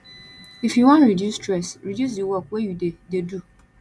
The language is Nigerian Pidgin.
if you wan reduce stress reduce di work wey you dey dey do